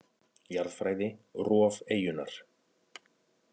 Jarðfræði: Rof eyjunnar.